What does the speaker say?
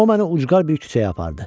O məni ucqar bir küçəyə apardı.